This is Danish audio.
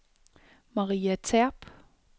Maria Terp